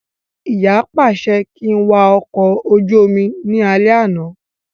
Ìyá pàṣẹ kí n wà ọkọ̀ ojú omi ní alẹ́ àná